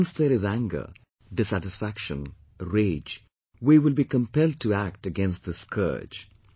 Once there is anger, dissatisfaction, rage, we will be compelled to act against this scourge